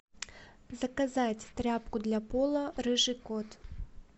заказать тряпку для пола рыжий кот